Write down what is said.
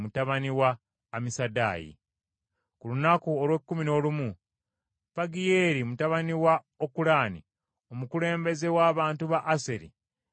Ku lunaku olw’ekkumi n’olumu Pagiyeeri mutabani wa Okulaani, omukulembeze w’abantu ba Aseri, n’aleeta ekiweebwayo kye.